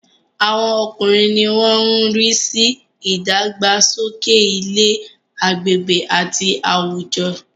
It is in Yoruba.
Àwọn ọkùnrin ni wọ́n má ń rí sí ìdàgbàsókè ilé, agbègbè àti àwùjọ